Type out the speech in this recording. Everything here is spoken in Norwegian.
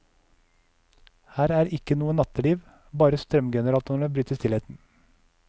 Her er ikke noe natteliv, bare strømgeneratorene bryter stillheten.